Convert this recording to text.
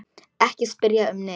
Ekki spyrja um neitt.